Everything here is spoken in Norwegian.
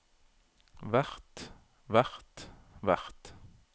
hvert hvert hvert